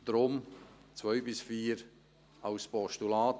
Und darum: die Punkte 2 bis 4 als Postulat.